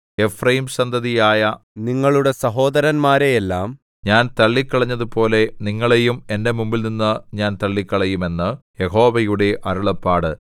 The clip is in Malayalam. എഫ്രയീംസന്തതിയായ നിങ്ങളുടെ സഹോദരന്മാരെയെല്ലാം ഞാൻ തള്ളിക്കളഞ്ഞതുപോലെ നിങ്ങളെയും എന്റെ മുമ്പിൽനിന്നു ഞാൻ തള്ളിക്കളയും എന്ന് യഹോവയുടെ അരുളപ്പാട്